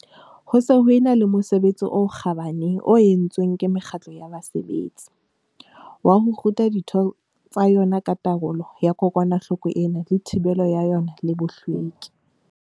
Ho se ho e na le mosebetsi o kgabane o entsweng ke mekgatlo ya basebetsi, wa ho ruta ditho tsa yona ka taolo ya kokwanahloko ena le thibelo ya yona le bohlweki.